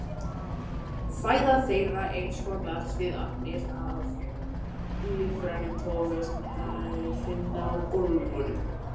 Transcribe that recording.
Fæða þeirra einskorðast við agnir af lífrænum toga sem þær finna á gólfum.